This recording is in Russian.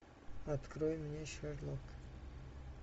открой мне шерлок